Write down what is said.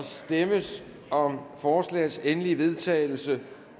stemmes om forslagets endelige vedtagelse